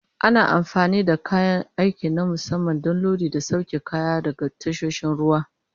Ana amfani da kayan aiki na musamman don lodi da sauke kaya daga tasoshin ruwa.